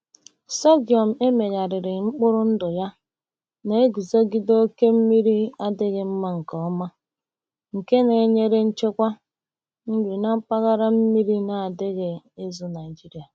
Sorghum e megharịrị mkpụrụ ndụ ya na-aguzogide oke mmiri adịghị mma nke ọma, nke na-enyere nchekwa nri na mpaghara mmiri na-adịghị ezu Nigeria.